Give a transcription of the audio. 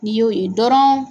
N'i y'o ye dɔrɔn